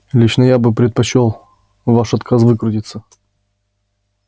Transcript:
лично я бы предпочёл ваш отказ выкрутиться